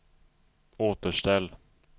återställ